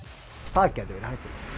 það gæti verið